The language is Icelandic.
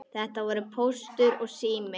Þetta voru Póstur og Sími.